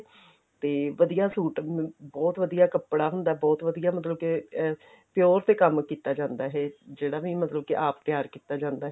ਤੇ ਵਧੀਆ ਸੂਟ ਅਮ ਬਹੁਤ ਵਧੀਆ ਕੱਪੜਾ ਹੁੰਦਾ ਬਹੁਤ ਵਧੀਆ ਮਤਲਬ ਕੇ ਐਂ pure ਤੇ ਕੰਮ ਕੀਤਾ ਜਾਂਦਾ ਇਹ ਜਿਹੜਾ ਵੀ ਮਤਲਬ ਕੀ ਆਪ ਤਿਆਰ ਕੀਤਾ ਜਾਂਦਾ